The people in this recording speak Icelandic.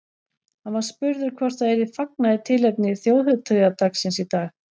Hann var spurður hvort það yrði fagnað í tilefni þjóðhátíðardagsins í dag.